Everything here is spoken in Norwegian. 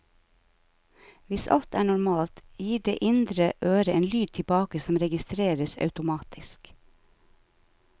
Hvis alt er normalt, gir det indre øre en lyd tilbake som registreres automatisk.